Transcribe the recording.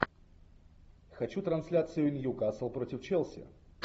хочу трансляцию ньюкасл против челси